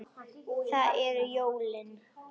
Það eru jólin.